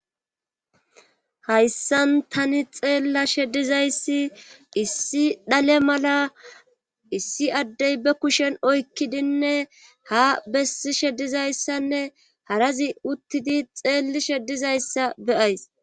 Hayssan tani xeellashe dizayssi issi dhale mala issi addey be kushen oykkidinne ha bessishe dizayssanne harazi uttidi xeellishe dizayssa beyays.